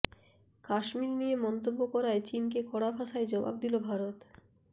কাশ্মীর নিয়ে মন্তব্য করায় চীনকে কড়া ভাষায় জবাব দিল ভারত